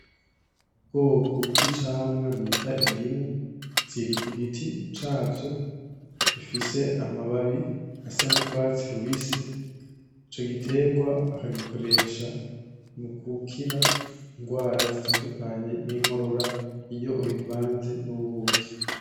Ubwoko bw'icamwa bita indimu ziri kugiti cavyo, ifise amababi asa n'urwatsi rubisi. Ico gitegwa bakagikoresha mu gukira ingwara zitandukanye, nk'inkorora iyo ubivanze n'ubuki.